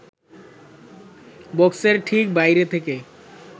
বক্সের ঠিক বাইরে থেকে